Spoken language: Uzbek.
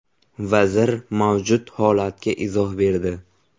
Vazir mavjud holatga izoh berdi.